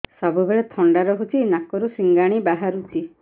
ସବୁବେଳେ ଥଣ୍ଡା ରହୁଛି ନାକରୁ ସିଙ୍ଗାଣି ବାହାରୁଚି